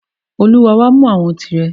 O Lord, come take your own.